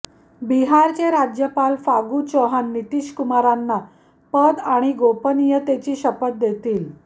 बिहारचे राज्यपाल फागू चौहान नितीश कुमारांना पद आणि गोपनीयतेची शपथ देतील